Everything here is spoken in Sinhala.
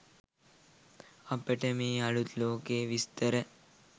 අපට මේ අලුත් ලෝකයේ විස්තර